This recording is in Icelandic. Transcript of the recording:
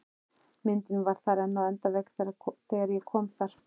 Myndin var þar enn á endavegg þegar ég kom þar